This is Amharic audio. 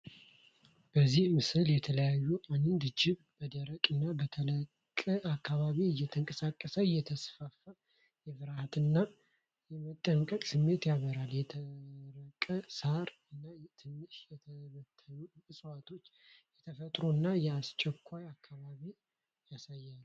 በዚህ ምስል የታየው አንድ ጅብ በደረቅ እና በተለቀ አካባቢ እየተንቀሳቀሰ የተስፋን፣ የፍርሃትን እና የመጠንቀቅ ስሜት ያበራል። የተረቀ ሣር እና ትንሽ የተበተኑ ዕፅዋት የተፈጥሮ እና የአስቸኳይ አካባቢን ያሳያሉ።